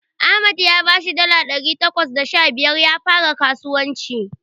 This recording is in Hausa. Ahmad ya bashi dala ɗari takwas da sha biyar ya fara skasuwanci.